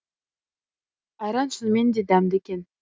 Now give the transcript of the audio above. айран шынымен де дәмді екен